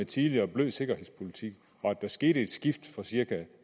tidligere bløde sikkerhedspolitik der skete et skift for cirka